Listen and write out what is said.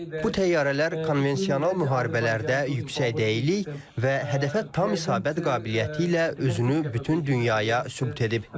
Bu təyyarələr konvensional müharibələrdə yüksək dəyilik və hədəfə tam isabət qabiliyyəti ilə özünü bütün dünyaya sübut edib.